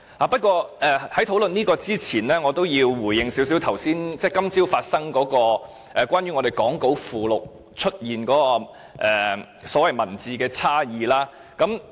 不過，在討論這些之前，我要回應一下今早發生的事，關於講稿附錄出現的所謂文本差異。